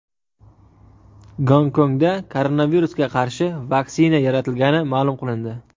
Gonkongda koronavirusga qarshi vaksina yaratilgani ma’lum qilindi .